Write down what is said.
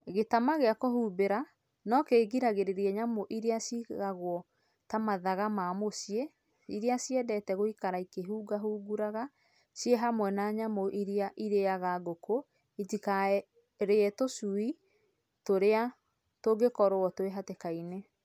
Gĩtama gĩa kũhumbĩra no kĩgiragĩrĩria nyamũ iria cigagwo ta mathaga ma mũciĩ iria ciendete gũikara ikĩhungahungũraga ciĩ hamwe na nyamũ iria irĩaga ngũkũ itikarĩe tũcui iria tũngĩkorwo twĩ hatĩka-inĩ.